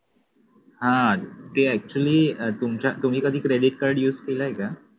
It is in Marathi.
हा ते actually अं तुमच्या तुम्ही कधी credit card use केलंय का